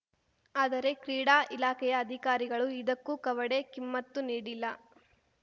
ಆದರೆ ಕ್ರೀಡಾ ಇಲಾಖೆಯ ಅಧಿಕಾರಿಗಳು ಇದಕ್ಕೂ ಕವಡೆ ಕಿಮ್ಮತ್ತು ನೀಡಿಲ್ಲ